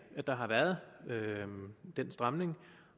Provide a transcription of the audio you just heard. at der har været den stramning